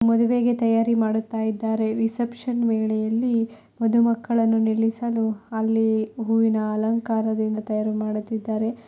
ಮದುವೆ ತಯಾರಿ ಮಾಡುತ್ತಿದ್ದಾರೆ ರಿಸೆಪ್ಶನ್ ವೇಳೆಯಲ್ಲಿ ಮಧು ಮಕ್ಕಳನ್ನು ನಿಲ್ಲಿಸಲು ಅಲ್ಲಿ ಹೂವಿನ ಅಲಂಕಾರದಿಂದ ತಯಾರು ಮಾಡುತ್ತಿದ್ದಾರೆ.